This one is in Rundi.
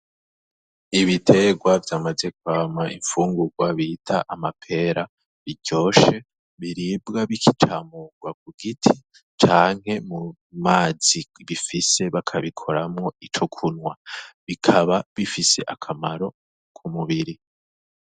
Ibiterwa vyamaze kwama imfungurwa bita amapera biryoshe, biribwa bikicamurwa ku giti canke mu mazi bifise, bakabikoramwo ico kunwa. Bikaba bifise akamaro ku mubiri.